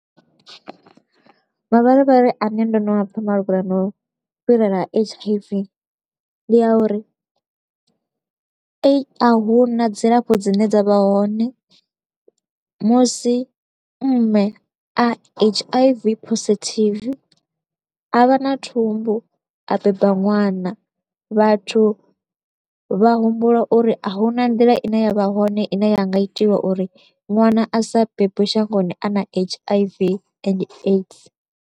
Mavharivhari a ne ndo no a pfa malugana no fhirela ha H_I_V ndi ya uri, a hu na dzilafho dzine dza vha hone musi mme a H_I_V positive a vha na thumbu a beba ṅwana, vhathu vha humbula uri a hu na nḓila i ne ya vha hone i ne ya nga itiwa uri ṅwana a sa bebwe shangoni a na H_I_V and AIDS.